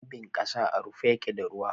Rabin kasa à rufe yake da ruwa.